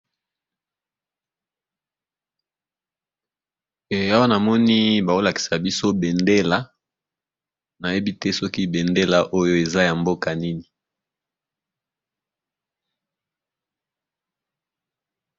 Awa namoni bazolakisa biso bendela, nayebite sokî bendela oyo eza yamboka Nini.